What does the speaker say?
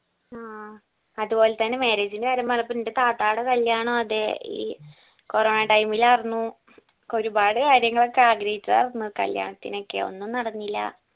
ആ അതുപോലെ തന്നെ marriage ന്റെ കാര്യം പറഞ്ഞപ്പോ എന്റെ താത്താടെ കല്യാണോം അതെ ഈ corona time ഇൽ ആർന്നു ഒരുപാട് കാര്യങ്ങളൊക്കെ ആഗ്രഹിച്ചതാർന്നു ഈ കല്യാണത്തിനൊക്കെ ഒന്നും നടന്നില്ല